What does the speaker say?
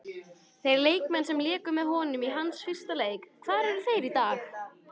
Þeir leikmenn sem léku með honum í hans fyrsta leik, hvar eru þeir í dag?